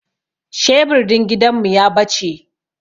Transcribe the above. Shebur din gidan mu ya bace